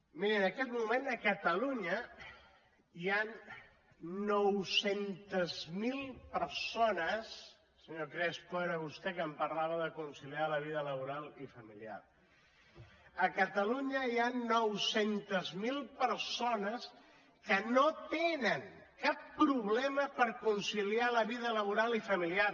mirin en aquest moment a catalunya hi han nou cents miler persones senyor crespo era vostè que em parlava de conciliar la vida laboral i familiar que no tenen cap problema per conciliar la vida laboral i familiar